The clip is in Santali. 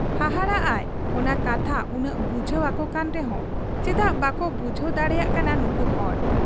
ᱦᱟᱦᱟᱲᱟᱜ ᱟᱭ ᱚᱱᱟ ᱠᱟᱛᱷᱟ ᱩᱱᱟᱹᱜ ᱵᱩᱡᱷᱟᱹᱣ ᱟᱠᱚᱠᱟᱱ ᱨᱮᱦᱚᱸ ᱪᱮᱫᱟᱜ ᱵᱟᱠᱚ ᱵᱩᱡᱷᱟᱹᱣ ᱫᱟᱲᱮᱭᱟᱜ ᱠᱟᱱᱟ ᱱᱩᱠᱩ ᱦᱚᱲ ᱾